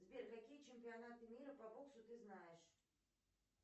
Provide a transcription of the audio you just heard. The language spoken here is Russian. сбер какие чемпионаты мира по боксу ты знаешь